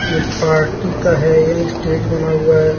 ये पार्टी का यह स्टेज बना हुआ है।